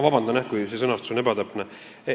Vabandust, kui sõnastus on ebatäpne.